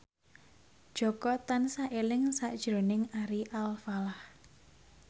Jaka tansah eling sakjroning Ari Alfalah